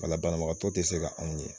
banabagatɔ te se ka anw ye.